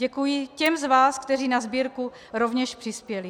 Děkuji těm z vás, kteří na sbírku rovněž přispěli.